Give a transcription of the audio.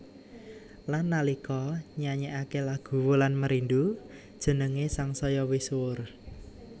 Lan nalika nyanyékaké lagu Wulan Merindu jenengé sangsaya misuwur